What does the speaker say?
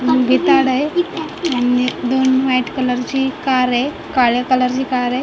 भिताड आहे आणि एक दोन व्हाईट कलर ची कार आहे काळ्या कलर ची कार आहे.